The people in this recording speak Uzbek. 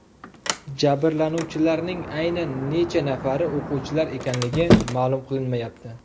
Jabrlanuvchilarning aynan necha nafari o‘quvchilar ekanligi ma’lum qilinmayapti.